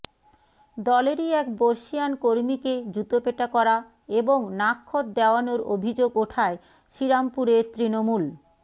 দলেরই এক বর্ষীয়ান কর্মীকে জুতোপেটা করা এবং নাকখত দেওয়ানোর অভিযোগ ওঠায় শ্রীরামপুরের তৃণমূল